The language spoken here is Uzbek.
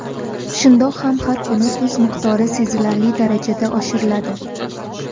Shundoq ham har kuni tuz miqdori sezilarli darajada oshiriladi.